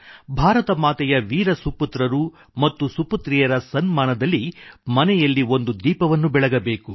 ಭಾರತ ಮಾತೆಯ ವೀರ ಸುಪುತ್ರರು ಮತ್ತು ಸುಪುತ್ರಿಯರ ಸನ್ಮಾನದಲ್ಲಿ ಮನೆಯಲ್ಲಿ ಒಂದು ದೀಪವನ್ನು ಬೆಳಗಬೇಕು